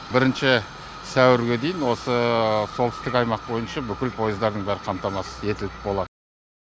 бірінші сәуірге дейін осы солтүстік аймақ бойынша бүкіл пойыздардың бәрі қамтамасыз етіліп болады